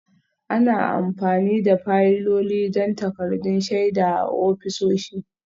Ana amfani da fayiloli don takaddun shaida a ofisoshi